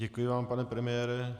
Děkuji vám, pane premiére.